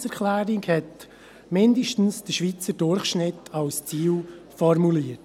Die Planungserklärung hat mindestens den Schweizer Durchschnitt als Ziel formuliert.